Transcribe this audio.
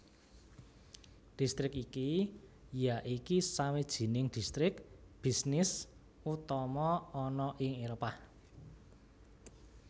Distrik iki yaiki sawijining distrik bisnis utama ana ing Éropah